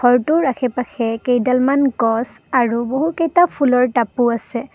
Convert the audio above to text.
ঘৰটোৰ আশে-পাশে কেইডালমান গছ আৰু বহুকেইটা ফুলৰ টাপো আছে।